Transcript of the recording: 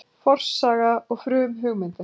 Forsaga og frumhugmyndir